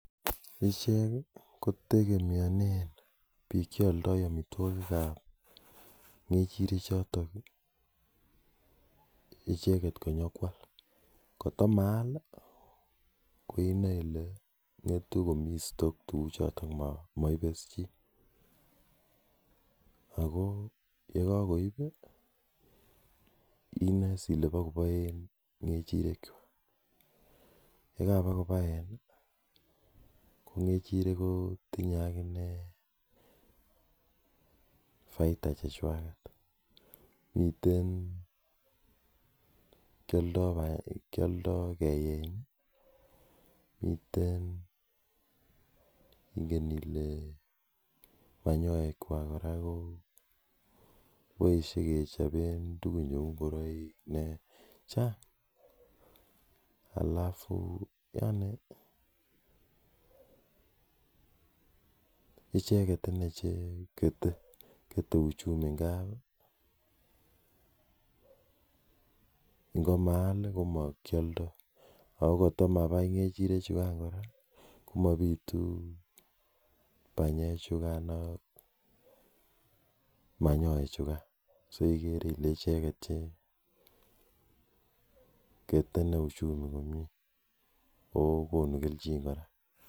Ichek kotegemionen biik cheoldoi amitwagik ab ngejirek choton inyokwal gotkomayal inoe kole ngetu komiiten store tuguk choton moibe chii ago yekagoin inoe kole bakobaen ngejirek kwak yekagobagobaen ii kongejirek kotinyoi baita chechwaget kiyoldoi keyae miten kele nyolu en konyekwak koui sikechoben tuguk cheu ingoroik chang alafu yaani icheget chekete uchumi ndab ndamaal komakiyoldoi agokot komabai ngejirek chukan kora komabiitun banyek chu ak manyoek chugan soigere ile icheget che kete ichumi konget ago konukelchin kora